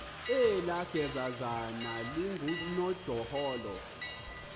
elaa gezazana lingunojaholo